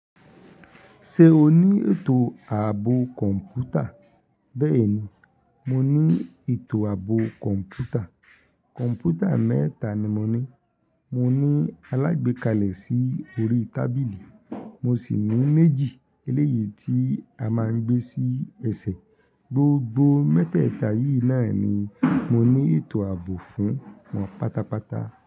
Ṣé o ní ètò ààbò kọ̀ǹpútà? Bẹ́ẹ̀ni, mo ní ètò àbò kọ̀ǹpútà. Kọ̀ǹpútà mẹ́ta ni mo ní, mo ní alágbékalẹ̀ sí orí tábìlì, mo sì ní méjì eléyìí tí a máa ń gbé sí ẹsẹ̀. Gbogbo mẹ́tẹ̀ẹ̀ta yìí náà ni mo ní ètò ààbò fún wọn pátápátá.